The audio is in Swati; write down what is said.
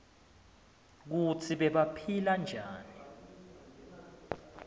kutsi bebaphila njani